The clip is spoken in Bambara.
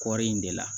Kɔɔri in de la